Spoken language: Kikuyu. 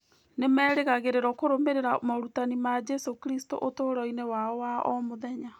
Nĩ merĩgagĩrĩrũo kũrũmĩrĩra morutani ma Jesũ Kristo ũtũũro-inĩ wao wa o mũthenya.